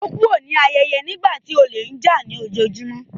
Ó kúrò l’áyẹ́yẹ́ nígbà tí olè ń jà á lójoojúmó.